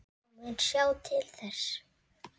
Ég mun sjá til þess.